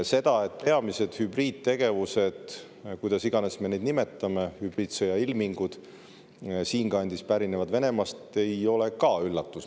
See, et peamised hübriidtegevused või kuidas iganes me neid nimetame, hübriidsõjailmingud siinkandis pärinevad Venemaalt, ei ole üllatus.